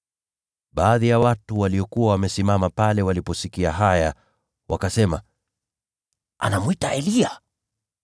Baadhi ya watu waliokuwa wamesimama pale waliposikia hayo, wakasema, “Anamwita Eliya.”